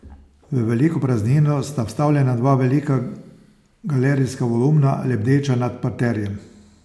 V veliko praznino sta vstavljena dva velika galerijska volumna, lebdeča nad parterjem.